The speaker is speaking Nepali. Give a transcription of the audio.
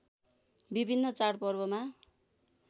विभिन्न चाडपर्वमा